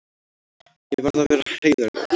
Ég verð að vera heiðarlegur.